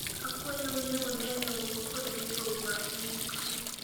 akwayou ni uneni un kod gigo ma indikoe